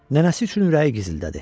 Nənəsi üçün ürəyi gizildədi.